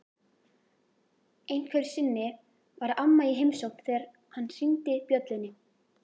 Einhverju sinni var amma í heimsókn þegar hann hringdi bjöllunni.